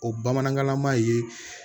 O bamanankanlama ye